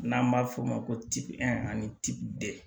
N'an b'a f'o ma ko ani tibid